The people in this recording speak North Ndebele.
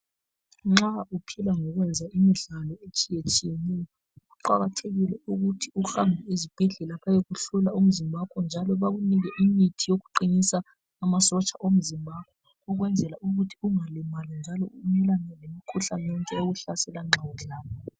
Nxa uphila ngokwenza imimdlalo etshiye tshiyeneyo kuqakathekile ukuthi uhambe ezibhedlela bayokuhlola umzimba wakho njalo bakunike imithi yokuqinisa amasotsha omzimba wakho ukwenzela ukuthi ungalimali njalo wenqabele lemikhuhlane yonke ekuhlasela nxa udlala.